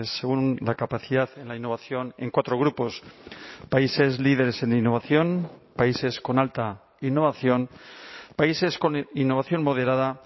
según la capacidad en la innovación en cuatro grupos países líderes en innovación países con alta innovación países con innovación moderada